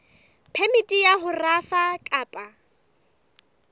phemiti ya ho rafa kapa